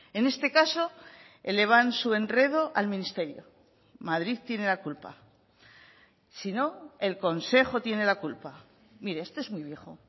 en este caso elevan su enredo al ministerio madrid tiene la culpa si no el consejo tiene la culpa mire esto es muy viejo